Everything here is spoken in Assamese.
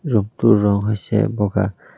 ৰূম টোৰ ৰং হৈছে বগা।